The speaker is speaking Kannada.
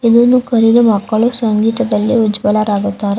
ಇದನ್ನು ಕಲಿದ ಮಕ್ಕಳು ಸಂಗೀತದಲ್ಲಿ ಉಜ್ವಲರಾಗುತ್ತಾರೆ .